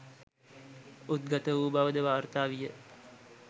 උද්ගත වූ බවද වාර්තා විය.